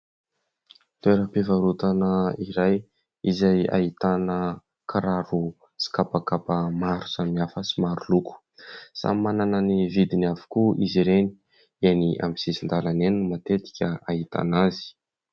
Toeram-pivarotana iray izay ahitana kiraro sy kapakapa maro samihafa sy maroloko. Samy manana ny vidiny avokoa izy ireny, eny amin'ny sisin-dalana eny matetika ahitana azy.